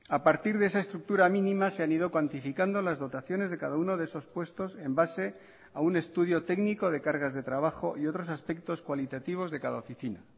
a partir de esa estructura mínima se han ido cuantificando las dotaciones de cada uno de esos puestos en base a un estudio técnico de cargas de trabajo y otros aspectos cualitativos de cada oficina